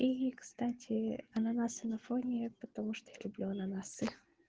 и кстати ананасы на фоне потому что я люблю ананасы